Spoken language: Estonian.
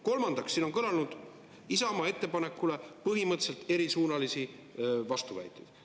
Kolmandaks, siin on kõlanud Isamaa ettepanekule põhimõtteliselt erisuunalisi vastuväiteid.